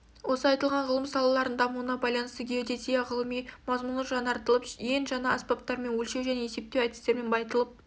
осы айтылған ғылым салаларының дамуына байланысты геодезия ғылыми мазмұны жанартылып ең жана аспаптармен өлшеу және есептеу әдістерімен байытылып